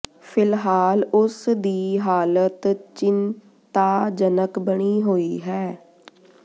ਫ਼ਿਲਹਾਲ ਉਸ ਦੀ ਹਾਲਤ ਚਿੰ ਤਾ ਜਨਕ ਬਣੀ ਹੋਈ ਹੈ